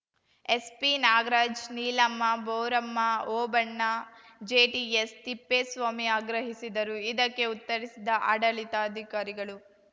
ಎಸ್‌ಪಿನಾಗರಾಜ್‌ ನೀಲಮ್ಮ ಬೋರಮ್ಮ ಓಬಣ್ಣ ಜೆಟಿಎಸ್‌ತಿಪ್ಪೇಸ್ವಾಮಿ ಆಗ್ರಹಿಸಿದರು ಇದಕ್ಕೆ ಉತ್ತರಿಸಿದ ಆಡಳಿತಾಧಿಕಾರಿಗಳು